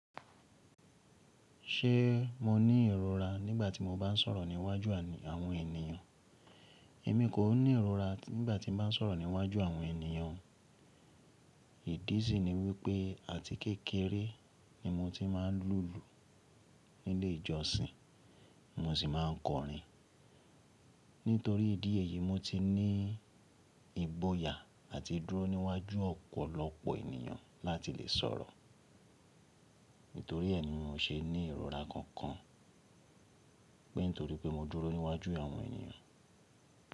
Ṣé mo ní ìrora nígbàtí mo bá ń sọ̀rọ̀ níwájú àwọn ènìyàn? Èmi kò ní ìrora nígbàtí mo bá ń sọ̀rọ̀ níwájú àwọn ènìyàn. Ìdí sì ni wípé àti kékeré ni mo tí máa ń lùlù nílé ìjọsìn, mo sì máa ń kọrin. Nítorí ìdí èyí, mo tí ní ìgbòyà àti dúró níwájú ọ̀pọ̀lọpọ̀ ènìyàn láti lè sọ̀rọ̀. Nítorí ẹ́ ni mo ṣe ní ìrora kankan pé nítorí pé mo dúró níwájú àwọn ènìyàn.